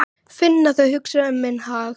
Finn að þau hugsa um minn hag.